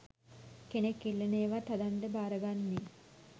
කෙනෙක් ඉල්ලන ඒවත් හදන්ඩ භාරගන්නේ.